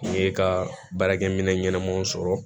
N ye ka baarakɛminɛn ɲɛnamaw sɔrɔ